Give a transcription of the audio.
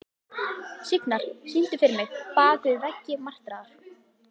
Signar, syngdu fyrir mig „Bak við veggi martraðar“.